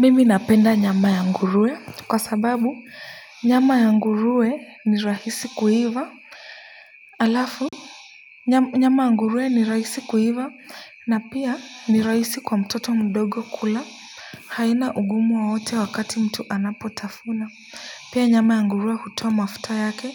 Mimi ninapenda nyama ya nguruwe kwa sababu nyama ya nguruwe ni rahisi kuiva halafu nyama ya nguruwe ni rahisi kuiva na pia ni rahisi kwa mtoto mdogo kula. Haina ugumu wowote wakati mtu anapotafuna pia nyama ya nguruwe hutoa mafuta yake